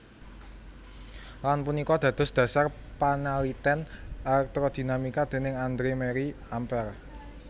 Lan punika dados dhasar panaliten elektrodinamika déning Andre Marie Ampere